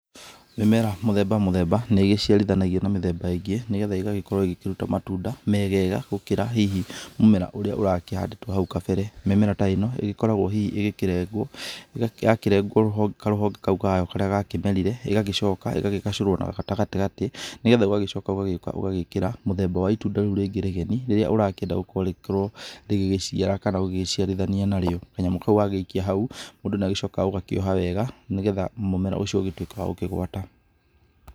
Mĩmera mũthemba mũthemba nĩ ĩgĩciarithanagio na mĩmera ĩngĩ, nĩgetha ĩgagĩkorwo ĩgĩkĩruta matunda megega gũkĩra hihi mũmera ũrĩa ũrakĩhandĩtwo hau kabere. Mĩmera ta ĩno ĩgĩkoragwo hihi ĩgĩkĩrengwo, yakĩrengwo karũhonge kau kayo karĩa gakĩmerire ĩgagĩcoka ĩgakĩgacũrwo na gatagatĩ nĩgetha ũgagĩcoka ũgagĩũka ũgagĩkĩra mũthemba wa itunda rĩu rĩngĩ rĩgeni, rĩrĩa ũrakĩenda rĩkorwo rĩgĩgĩciara kana ũgĩgĩciarithania narĩo. Kanyamũ kau wagĩikia hau, mũndũ nĩ acokaga ũgakĩoha wega, nĩgetha mũmera ũcio ũgĩtuĩke wa gũkĩgwata.